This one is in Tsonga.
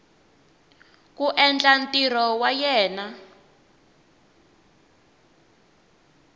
ku endla ntirho wa yena